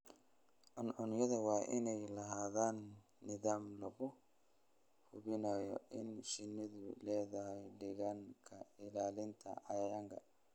Cuncunyadu waa inay lahaadaan nidaam lagu hubinayo in shinnidu leedahay deegaan ka ilaalinaya cayayaanka.